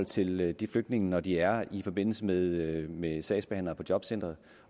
til de flygtninge når de er i forbindelse med med sagsbehandlere på jobcenteret